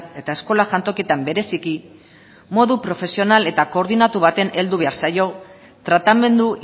eta eskola jantokietan bereziki modu profesional eta koordinatu baten heldu behar zaio tratamendu